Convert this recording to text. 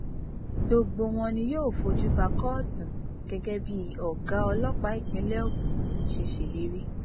gbogbo wọn ni yóò fojú ba kóòtù gẹgẹ bí ọgá ọlọpàá ìpínlẹ ogun ṣe ṣèlérí